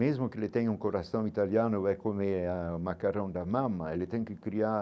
Mesmo que eles tenham um coração italiano é comer eh macarrão da, ele tem que criar